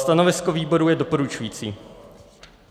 Stanovisko výboru je doporučující.